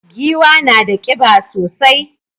Giwa na da kiba sosai.